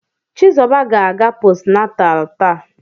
Chizuba ga-aga postnatal taa.